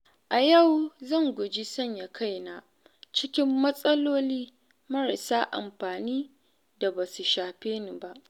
A yau zan guji sanya kaina cikin matsaloli marasa amfani da basu shafe ni ba.